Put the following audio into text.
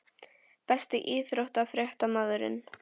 Besti íþróttafréttamaðurinn?